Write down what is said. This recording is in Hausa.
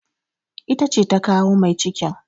Ita ce ta kawo mai cikin.